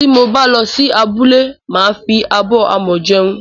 Tí mo bá lọ sí abúlé, màa fi abọ́ amọ̀ jẹun